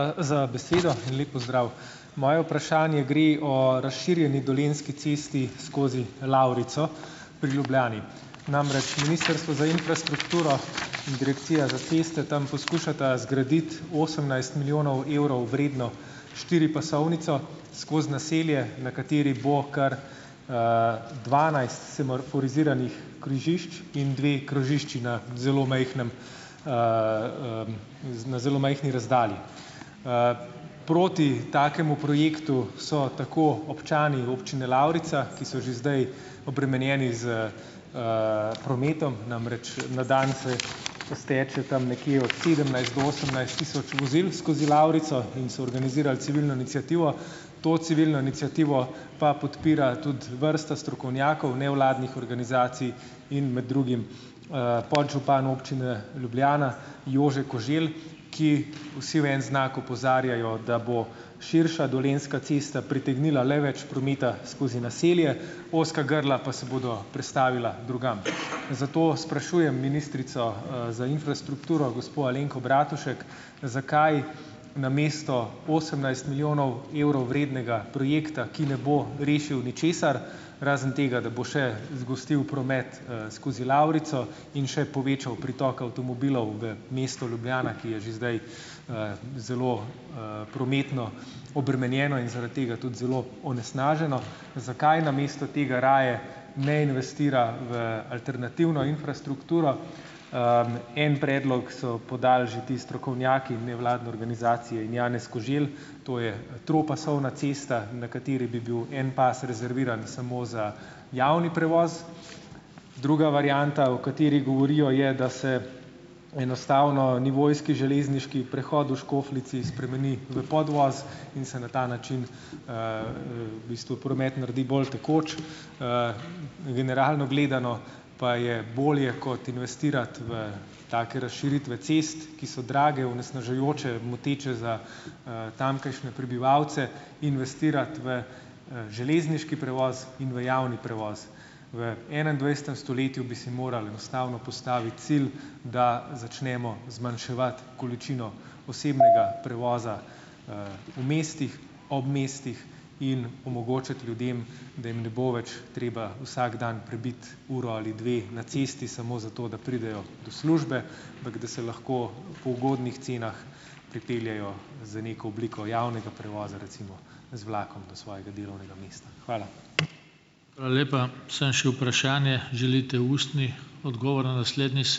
... za besedo in lep pozdrav! Moje vprašanje gre o razširjeni Dolenjski cesti skozi Lavrico pri Ljubljani. Namreč, ministrstvo za infrastrukturo in direkcija za ceste tam poskušata zgraditi osemnajst milijonov evrov vredno štiripasovnico, skozi naselje, na kateri bo kar, dvanajst semaforiziranih križišč in dve krožišči na zelo majhnem, na zelo majhni razdalji. Proti takemu projektu so tako občani občine Lavrica, ki so že zdaj obremenjeni s, prometom, namreč, na dan se izteče tam nekje sedemnajst do osemnajst tisoč vozil skozi Lavrico, in so organizirali civilno iniciativo. To civilno iniciativo pa podpira tudi vrsta strokovnjakov, nevladnih organizacij in med drugim, podžupan občine Ljubljana Jože Koželj, ki vsi v en znak opozarjajo, da bo širša Dolenjska cesta pritegnila le več prometa skozi naselje, ozka grla pa se bodo prestavila drugam. Zato sprašujem ministrico, za infrastrukturo, gospo Alenko Bratušek, zakaj namesto osemnajst milijonov evrov vrednega projekta, ki ne bo rešil ničesar - razen tega, da bo še zgostil promet, skozi Lavrico in še povečal pritok avtomobilov v mesto Ljubljana, ki je že zdaj, zelo, prometno obremenjeno in zaradi tega tudi zelo onesnaženo - zakaj namesto tega raje ne investira v alternativno infrastrukturo? En predlog so podali že ti strokovnjaki in nevladne organizacije in Janez Koželj, to je tropasovna cesta, na kateri bi bil en pas rezerviran samo za javni prevoz, druga varianta, o kateri govorijo, je, da se enostavno nivojski, železniški prehod v Škofljici spremeni v podvoz in se na ta način, v bistvu promet naredi bolj tekoč. Generalno gledano pa je bolje kot investirati v take razširitve cest, ki so drage, onesnažujoče, moteče za, tamkajšnje prebivalce, investirati v, železniški prevoz in v javni prevoz. V enaindvajsetem stoletju bi si morali enostavno postaviti cilj, da začnemo zmanjševati količino osebnega prevoza, v mestih, ob mestih in omogočiti ljudem, da jim ne bo več treba vsak dan prebiti uro ali dve na cesti, samo zato, da pridejo do službe, ampak da se lahko po ugodnih cenah pripeljejo z neko obliko javnega prevoza, recimo z vlakom do svojega delovnega mesta. Hvala.